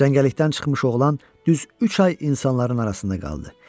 Cəngəllikdən çıxmış oğlan düz üç ay insanların arasında qaldı.